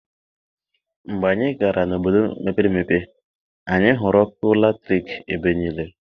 Mgbe anyị gara n'obodo mepere emepe, anyị hụrụ ọkụ latriki ebe niile.